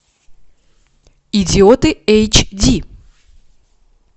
идиоты эйч ди